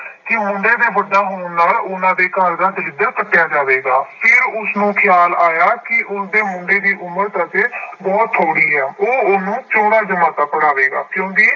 ਕਿ ਮੁੰਡੇ ਦੇ ਵੱਡਾ ਹੋਣ ਨਾਲ ਉਹਨਾਂ ਦੇ ਘਰ ਦਾ ਦਲਿੱਦਰ ਪੱਟਿਆ ਜਾਵੇਗਾ, ਫਿਰ ਉਸਨੂੰ ਖਿਆਲ ਆਇਆ ਕਿ ਉਸਦੇ ਮੁੰਡੇ ਦੀ ਉਮਰ ਤਾਂ ਹਜੇ ਬਹੁਤ ਥੋੜ੍ਹੀ ਹੈ ਉਹ ਉਹਨੂੰ ਚੌਦਾਂ ਜਮਾਤਾਂ ਪੜ੍ਹਾਵੇਗਾ